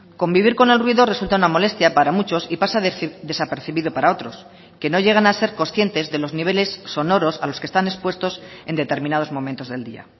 convivir con el ruido resulta una molestia para muchos y pasa desapercibido para otros que no llegan a ser conscientes de los niveles sonoros a los que están expuestos en determinados momentos del día